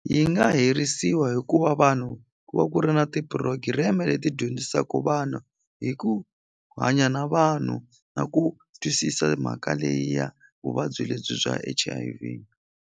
Yi nga herisiwa hi ku va vanhu ku va ku ri na ti-program leti dyondzisaku vana hi ku hanya na vanhu na ku twisisa mhaka leyi ya vuvabyi lebyi bya H_I_V.